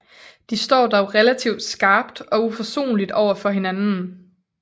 De står dog relativt skarpt og uforsonligt overfor hinanden